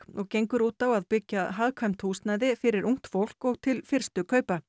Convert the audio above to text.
og gengur út á að byggja hagkvæmt húsnæði fyrir ungt fólk og til fyrstu kaupa